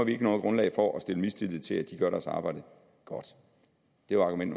ikke noget grundlag for at have mistillid til at de gør deres arbejde godt det var argument